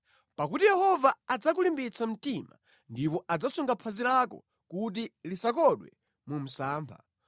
pakuti Yehova adzakulimbitsa mtima ndipo adzasunga phazi lako kuti lisakodwe mu msampha.